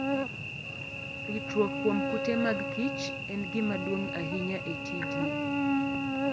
Ritruok kuom kute mag kich en gima duong' ahinya e tijni.